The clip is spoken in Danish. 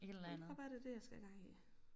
Jeg tror bare det det jeg skal have gang i